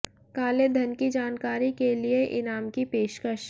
काले धन की जानकारी के लिए इनाम की पेशकश